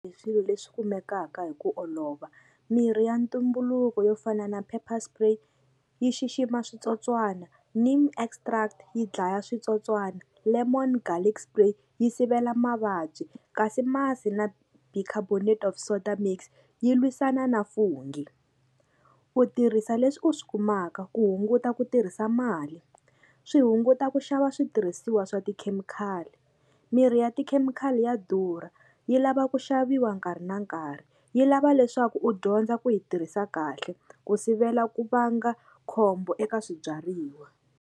Hi swilo leswi kumekaka hi ku olova mirhi ya ntumbuluko yo fana na Paper spray yi xixima switsotswana extract yi dlaya switsotswana Lemon garlic spray yi sivela mavabyi kasi masi na bicarbonate of soda mix yi lwisana na fungi u tirhisa leswi u swi kumaka ku hunguta ku tirhisa mali swi hunguta ku xava switirhisiwa swa tikhemikhali mirhi ya tikhemikhali ya durha yi lava ku xaviwa nkarhi na nkarhi yi lava leswaku u dyondza ku yi tirhisa kahle ku sivela ku vanga khombo eka swibyariwa.